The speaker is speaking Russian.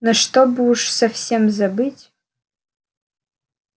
но чтобы уж совсем забыть